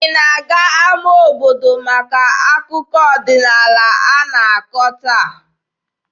Ị na-aga n'ama obodo maka akụkọ ọdịnaala a na-akọ taa?